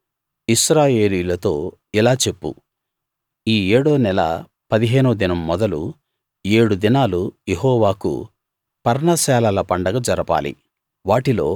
నీవు ఇశ్రాయేలీయులతో ఇలా చెప్పు ఈ ఏడో నెల పదిహేనో దినం మొదలు ఏడు దినాలు యెహోవాకు పర్ణశాలల పండగ జరపాలి